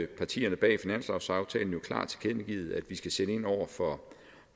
partierne bag finanslovsaftalen jo klart tilkendegivet at vi skal sætte ind over for